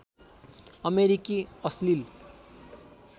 अमेरिकी अश्लिल